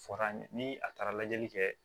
Fɔra an ɲe ni a taara lajɛli kɛ